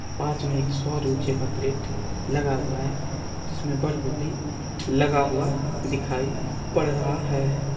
पास में एक सौर ऊर्जा का प्लेट लगा हुआ है जिसमें बल्ब भी लगा हुआ दिखाई पड़ रहा है।